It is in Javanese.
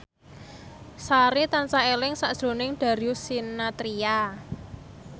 Sari tansah eling sakjroning Darius Sinathrya